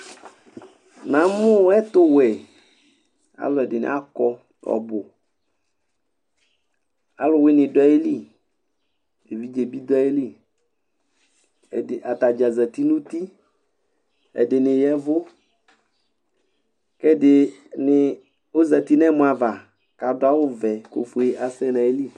Namʋ ɛtʋwɛ alʋɛdini akɔ ɔbʋ alʋwini dʋ ayili edidez bi dʋ ayili atadza zati nʋ uti ɛdini ya ɛvʋ kʋ ɛdini zati nʋ ɛmɔava kʋ adʋ awʋvɛ kʋ ofʋe asɛ nʋ ayili